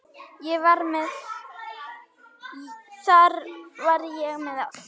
Þar var ég með allt.